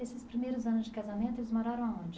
Esses primeiros anos de casamento eles moraram aonde?